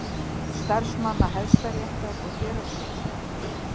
Starfsmanna Hæstaréttar og héraðsdómstóla.